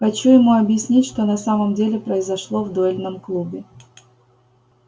хочу ему объяснить что на самом деле произошло в дуэльном клубе